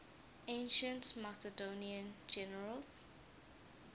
ancient macedonian generals